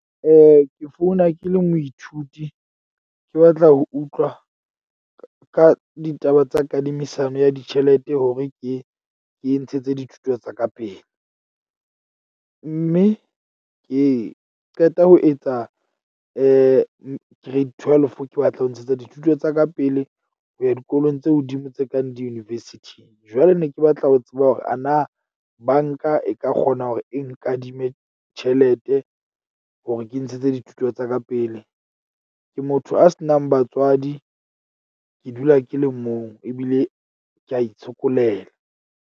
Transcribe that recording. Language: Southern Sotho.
Ke founa ke le moithuti, ke batla ho utlwa ka ditaba tsa kadimisano ya ditjhelete hore ke ke ntshetse dithuto tsa ka pele. Mme ee, ke qeta ho etsa grade twelve ke batla ho ntshetsa dithuto tsa ka pele, ho ya dikolong tse hodimo tse kang di-university. Jwale ne ke batla ho tseba hore ana bank-a e ka kgona hore e nkadime tjhelete hore ke ntshetse dithuto tsa ka pele. Ke motho a se nang batswadi, ke dula ke le mong ebile ke a itshokolela.